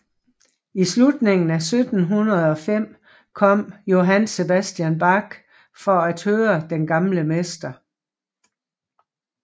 I slutningen af 1705 kom Johann Sebastian Bach for at høre den gamle mester